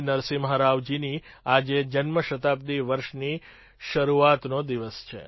નરસિમ્હા રાવજીની આજે જન્મશતાબ્દિ વર્ષની શરૂઆતનોદિવસ છે